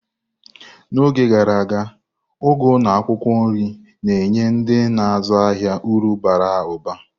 N'oge gara aga, ugu na akwukwo nri na-enye ndị na-azụ ahịa uru bara ụba.